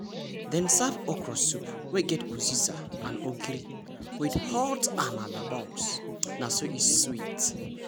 dem serve okra soup wey get uziza and ogiri with hot amala balls na so e sweet!